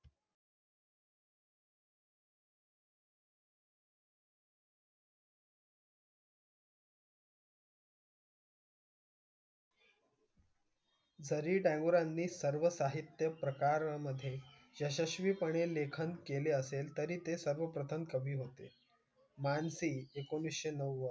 तरी टागोरांनी सर्व साहित्य प्रकारामधे यशस्वीपणे लेखन केले असेल तरी ते सर्वप्रथम कवी होते. मानसी एकोणीसशे नव्वद,